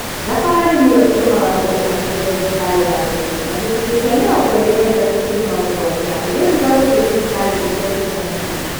Thabarĩ nĩyo ĩtũmaga mũndũ athure thibitarĩ ya gũthiĩ na gĩcunjĩ kĩa mĩrongo ĩĩrĩ na ithatũ turuma mũgwanja ĩgĩthuura gũthiĩ thibitarĩ iria cirĩ hakuhĩ